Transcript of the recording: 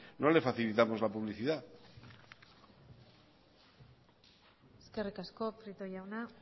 no le facilitamos la publicidad eskerrik asko prieto jauna